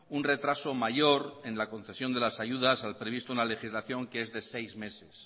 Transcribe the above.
un retraso mayor en la concesión de las ayudas al previsto una legislación que es de seis meses